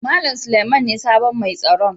Mallam Suleiman ne sabon mai tsaron.